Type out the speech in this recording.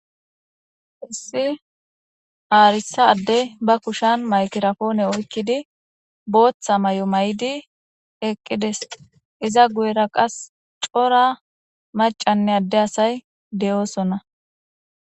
Issi arisa addey ba kushan maygirapone oykido bootha mayo mayidi eqides. Iza guyera qase cora macanne adde asay de'osona.